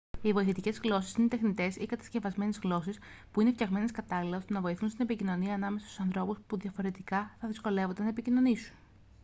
οι βοηθητικές γλώσσες είναι τεχνητές ή κατασκευασμένες γλώσσες που είναι φτιαγμένες κατάλληλα ώστε να βοηθούν στην επικοινωνία ανάμεσα στους ανθρώπους που διαφορετικά θα δυσκολεύονταν να επικοινωνήσουν